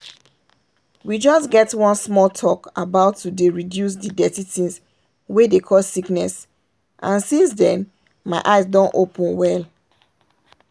we just get one small talk about to dey reduce the dirty things wey dey cause sickness and since then my eyes don open well.